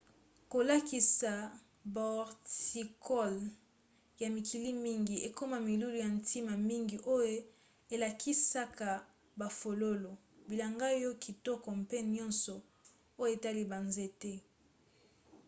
kolakisa bahorticoles ya mikili mingi ekoma milulu ya ntina mingi oyo elakisaka bafololo bilanga ya kitoko mpe nyonso oyo etali banzete